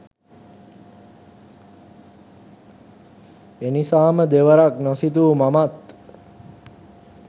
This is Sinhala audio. එනිසාම දෙවරක්‌ නොසිතූ මමත්